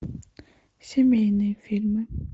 семейные фильмы